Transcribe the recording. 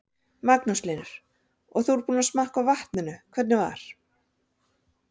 Magnús Hlynur: Og þú ert búinn að smakka á vatninu, hvernig var?